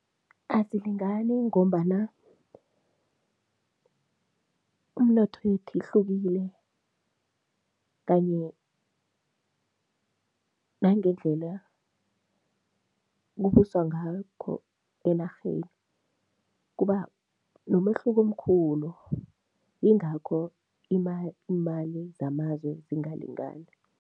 Azilingani ngombana umnotho yethu ihlukile kanye nangendlela kubuswa ngakho enarheni, kuba nomehluko omkhulu, yingakho iimali zamazwe zingalingani.